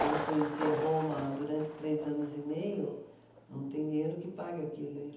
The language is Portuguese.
Como conhecer Roma durante três anos e meio, não tem dinheiro que pague aquilo.